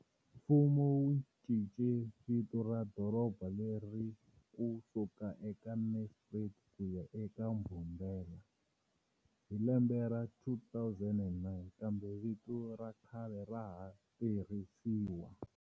Mfumo wu cince vito ra doroba leri ku suka eka Nelspruit ku ya eka Mbombela hi lembe ra 2009, kambe vito ra khale ra ha tirhisiwa.